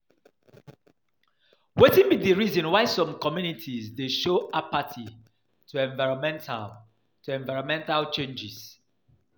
Wetin be di reason why some communities dey show apathy to environmental changes?